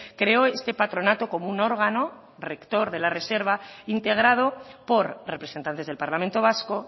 creo este patronato como un órgano rector de la reserva integrado por representantes del parlamento vasco